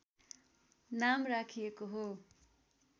नाम राखिएको हो